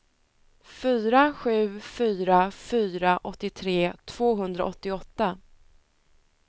fyra sju fyra fyra åttiotre tvåhundraåttioåtta